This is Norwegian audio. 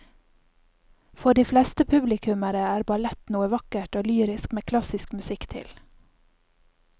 For de fleste publikummere er ballett noe vakkert og lyrisk med klassisk musikk til.